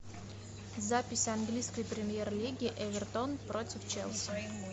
запись английской премьер лиги эвертон против челси